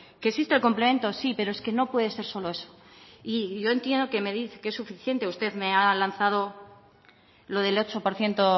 que existe el complemento sí pero es que no puede ser solo eso y yo entiendo que es suficiente usted me ha lanzado lo del ocho por ciento